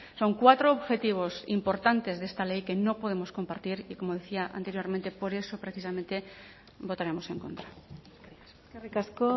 son cuatro objetivos importantes de esta ley que no podemos compartir y como decía anteriormente por eso precisamente votaremos en contra eskerrik asko